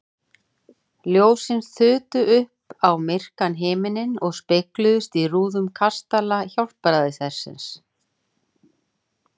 Ljósin þutu upp á myrkan himininn og spegluðust í rúðum kastala Hjálpræðishersins.